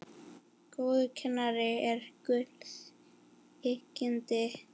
Góður kennari er gulls ígildi.